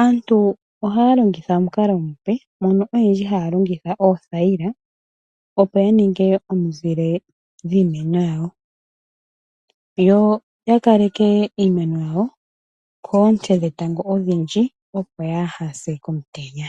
aantu ohaya longitha omukalo omupe mono oyendji haya longitha oothayila, opo ya ninge omizile dhiimeno yawo, yo ya kaleke iimeno yawo koonte dhetango odhindji, opo yaa ha se komutenya.